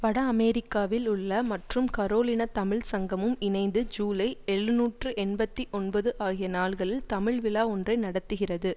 வட அமெரிக்காவில் உள்ள மற்றும் கரோலினா தமிழ் சங்கமும் இணைந்து ஜுலை எழுநூற்று எண்பத்தி ஒன்பது ஆகிய நாள்களில் தமிழ் விழா ஒன்றை நடத்துகிறது